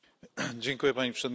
Pani Przewodnicząca!